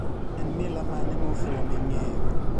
En mila mane mofuwo ming'eyo